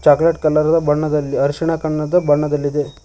Chocolate colour ಬಣ್ಣದಲ್ಲಿ ಅರಿಶಿಣ ಕಣ್ಣದ ಬಣ್ಣದಲ್ಲಿದೆ.